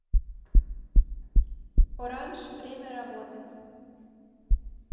оранж время работы